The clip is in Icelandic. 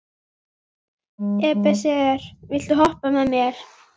Ebeneser, viltu hoppa með mér?